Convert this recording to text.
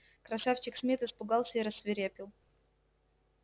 красавчик смит испугался и рассвирепел